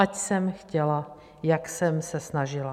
Ať jsem chtěla, jak jsem se snažila.